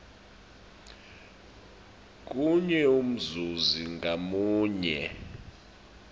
kunye umzuzi ngamunye